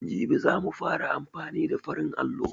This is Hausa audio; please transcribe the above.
Jibi za mu fara amfani da farin allo.